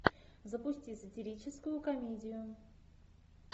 запусти сатирическую комедию